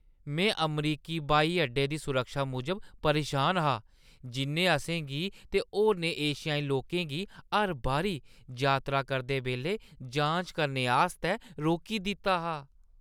में अमरीकी ब्हाई अड्डे दी सुरक्षा मूजब परेशान हा, जिʼन्नै असेंगी ते होरनें एशियाई लोकें गी हर बारी यात्रा करदे बेल्लै जांच करने आस्तै रोकी दित्ता हा।